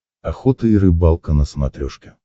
охота и рыбалка на смотрешке